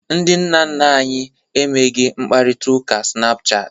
Ndị nna nna anyị emeghị mkparịta ụka snapuchat.